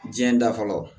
Diɲɛ da fɔlɔ